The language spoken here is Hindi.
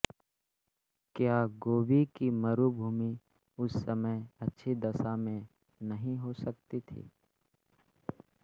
क्या गोबी की मरुभूमि उस समय अच्छी दशा में नहीं हो सकती थी